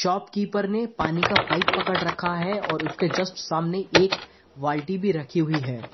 Shopkeeper ने पानी का पाइप पकड़ रखा है और उसके जस्ट सामने एक बाल्टी भी रखी हुई है।